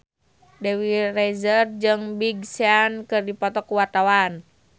Dewi Rezer jeung Big Sean keur dipoto ku wartawan